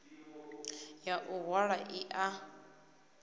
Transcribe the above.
ya u hwala i a